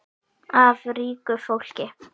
Af ríku fólki?